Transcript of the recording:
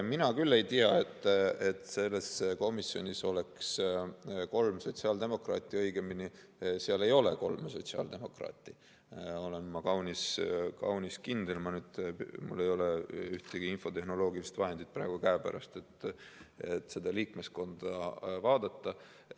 Mina küll ei tea, et selles komisjonis oleks kolm sotsiaaldemokraati, õigemini seal ei ole kolme sotsiaaldemokraati, ma olen kaunis kindel, kuigi mul ei ole ühtegi infotehnoloogilist vahendit praegu käepärast, et seda liikmeskonda vaadata.